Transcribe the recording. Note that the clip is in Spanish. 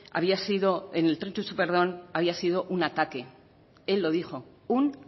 había sido en el tren txu txu perdón había sido un ataque él lo dijo un